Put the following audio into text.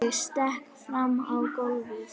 Ég stekk fram á gólfið.